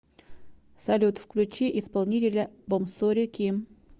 салют включи исполнителя бомсори ким